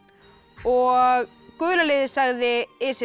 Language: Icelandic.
og gula liðið sagði is